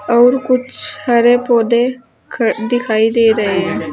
और कुछ हरे पौधे दिखाई दे रहे हैं।